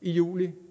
i juli